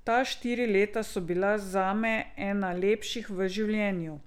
Ta štiri leta so bila zame ena lepših v življenju.